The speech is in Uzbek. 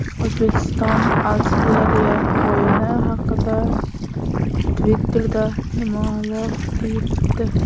O‘zbekiston – Avstraliya o‘yini haqida Twitter’da nimalar deyildi?